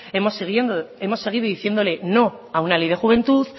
hemos seguido diciéndole no a una ley de juventud